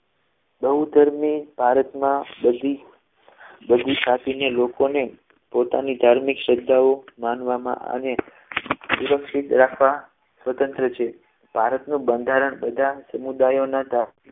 બહુ ધર્મી ભારતમાં બધી બધી જાતિને લોકોને પોતાની ધાર્મિક શ્રદ્ધાઓ માનવામાં અને સુરક્ષિત રાખવા સ્વતંત્ર છે ભારતનું બંધારણ બધા સમુદાયોના